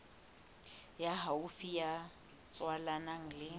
ya haufi ya tswalanang le